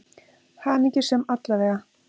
Hamingjusöm, alla vega.